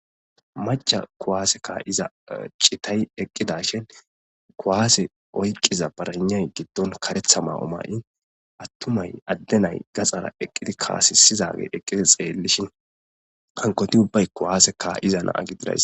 maca kuwaase kka'iza chitay eqqidashin kuwaase oyqiza baranay giddon karetha ma'o ma7i attumay addenay gaxara eqqidi kaasisizage eqqidi xeellishin kankoti ubbay kuwaasekka iza naa gididays